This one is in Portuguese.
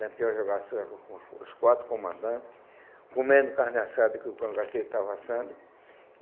Lampião jogasse sueco com os os quatro comandantes, comendo carne assada que o Cangaceiro estava assando.